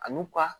A n'u ka